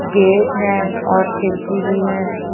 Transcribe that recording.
Gate है और खिड़की भी है।